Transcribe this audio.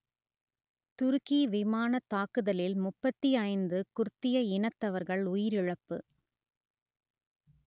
துருக்கி விமானத் தாக்குதலில் முப்பத்தி ஐந்து குர்திய இனத்தவர்கள் உயிரிழப்பு